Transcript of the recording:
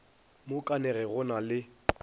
mo kanege go na le